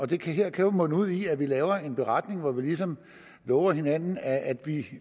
det her kan jo munde ud i at vi laver en beretning hvor vi ligesom lover hinanden at